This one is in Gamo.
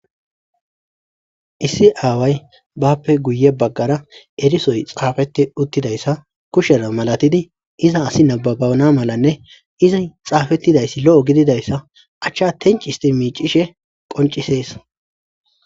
issi aaway bappe guye baggara erisoy xaafeti uttidayssa kushera malatidi iza asi nababana malanne izi xaafettidayssi lo7o gididayssa achcha tencisti miicishe qoncisees